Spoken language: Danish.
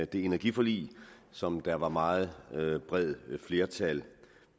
det energiforlig som der var et meget bredt flertal